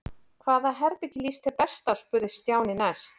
Hvaða herbergi líst þér best á? spurði Stjáni næst.